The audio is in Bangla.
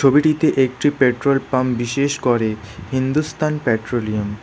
ছবিটিতে একটি পেট্রোল পাম্প বিশেষ করে হিন্দুস্তান পেট্রোলিয়াম --